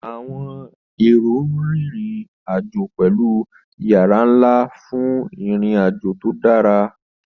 Àwọn èrò ń rin ìrìn-àjò pẹ̀lú ìyára ńlá fún ìrìn-àjò tó dára.